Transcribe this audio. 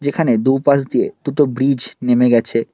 যেখানে দুপাশ দিয়ে দুটো ব্রিজ নেমে গেছে।